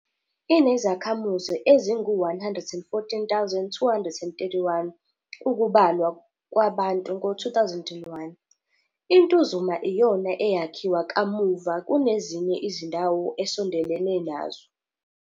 Inezakhamuzi ezingu-114 231, ukubalwa kwabantu ngo-2001, iNtuzuma iyona eyakhiwa kamuva kunezinye izindawo esondelene nazo.